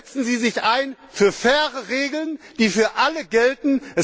Setzen Sie sich ein für faire Regeln, die für alle gelten!